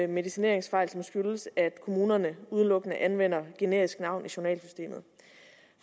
medicineringsfejl som skyldes at kommunerne udelukkende anvender generisk navn i journalsystemet